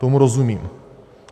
Tomu rozumím.